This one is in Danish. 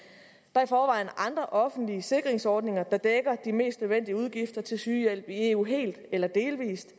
er i forvejen andre offentlige sikringsordninger der dækker de mest nødvendige udgifter til sygehjælp i eu helt eller delvis i